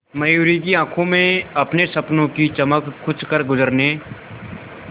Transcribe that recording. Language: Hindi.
मयूरी की आंखों में अपने सपनों की चमक कुछ करगुजरने